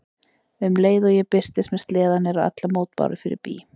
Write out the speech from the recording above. Um leið og ég birtist með sleðann eru allar mótbárur fyrir bí.